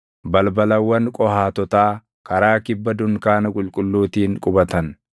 Balbalawwan Qohaatotaa karaa kibba dunkaana qulqulluutiin qubatan.